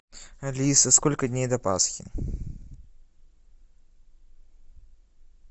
алиса сколько дней до пасхи